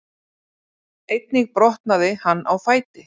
Einnig brotnaði hann á fæti